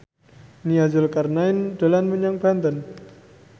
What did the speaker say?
Nia Zulkarnaen dolan menyang Banten